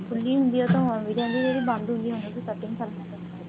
ਖੁੱਲੀ ਹੁੰਦੀ ਆ ਉਹ ਓਵੀੰ ਰਹਿਦੀ ਆ ਜਿਹੜੀ ਬੰਦ ਹੁੰਦੀ ਆ ਉਹਨੂੰ ਵੀ cutting ਕਰਨਾ ਪੈਂਦਾ ਹੈ